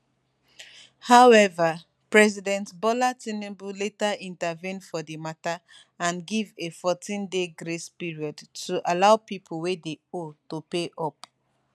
however president bola tinubu later intervene for di matter and give a 14day grace period to allow pipo wey dey owe to pay up